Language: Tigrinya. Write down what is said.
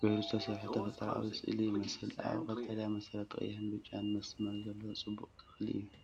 ጌሩ ዝተሰርሐ ተፈጥሮኣዊ ስእሊ ይመስል። ኣብ ቀጠልያ መሰረት ቀይሕን ብጫን መስመር ዘለዎ ጽቡቕ ተኽሊ'ዩ።